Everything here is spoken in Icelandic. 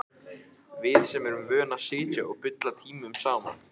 Við sem erum vön að sitja og bulla tímunum saman.